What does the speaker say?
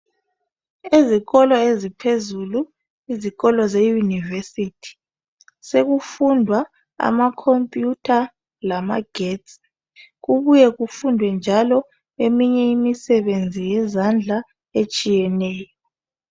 Izikolo eziphezulu, izikolo zeyunivesithi sekufundwa amakhompiyutha lamagetsi kubuye kufundwe njalo eminye imisebenzi yezandla etshiyeneyo.